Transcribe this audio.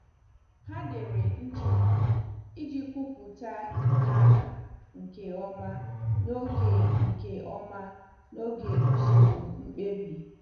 Ha dere nchegbu iji kwupụta ha nke ọma n'oge nke ọma n'oge usoro mkpebi.